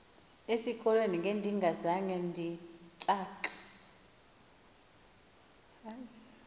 esikolweni ngendingazange nditsak